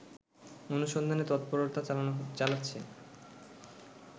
অনুসন্ধানে তৎপরতা চালাচ্ছে